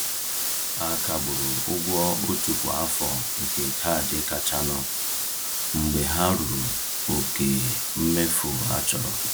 A kagburu ụgwọ otu kwa afọ nke kaadị kachanụ mgbe ha ruru oke mmefu a chọrọ.